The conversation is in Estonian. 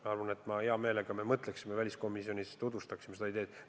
Ma arvan, et me mõtleme selle üle ja tutvustame siis väliskomisjonis seda ideed hea meelega.